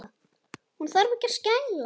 Hún þarf ekki að skæla.